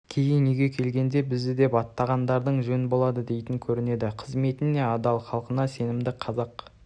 кейін үйге келгенде бізді деп атағандарың жөн болады дейтін көрінеді қызметіне адал халқына сенімді қазақ